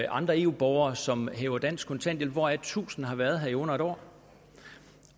andre eu borgere som hæver dansk kontanthjælp hvoraf tusind har været her i under en år